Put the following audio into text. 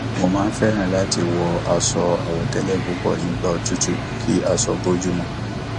mo máa ń fẹ láti wọ aṣọ àwọtẹlẹ púpọ nígbà òtútù kí aṣọ bójú mu